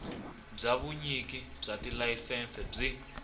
bya vunyiki bya tilayisense byi